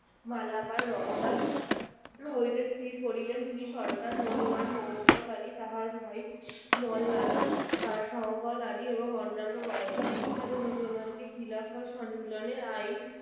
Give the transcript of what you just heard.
মালাবাদ রওয়ানা হইতে স্থির করিলেন তিনি সরকার মলোয়ান মহব্বত আলি তাহার ভাই মওলানা শওকত আলীএবং অন্যান্য কয়েকজন বিখ্যাত মুসলমানকে খিলাফত সম্মেলনের আইন